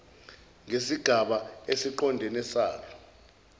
ngesigaba esiqondene salo